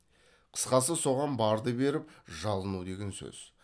қысқасы соған барды беріп жалыну деген сөз